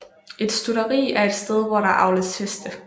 Et stutteri er et sted hvor der avles heste